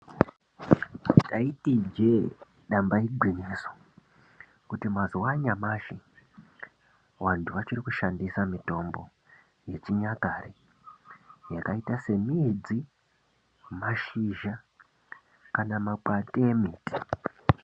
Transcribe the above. Ndaiti ijee damba igwinyiso, kuti mazuwa anyamashi vantu vachiri kushandisa mitombo yechinyakare, yakaita semidzi, mashizha, kana makwati emiti.